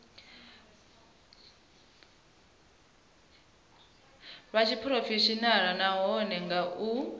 lwa tshiphurofeshenaḽa nahone nga u